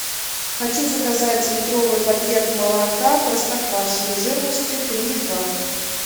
хочу заказать литровый пакет молока простоквашино жирностью три и два